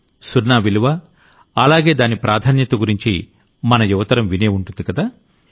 సున్నా విలువ అలాగే దాని ప్రాధాన్యత గురించి మన యువతరం వినే ఉంటుందికదా